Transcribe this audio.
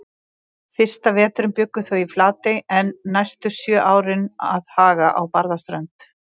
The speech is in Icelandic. Fyrsta veturinn bjuggu þau í Flatey en næstu sjö árin að Haga á Barðaströnd.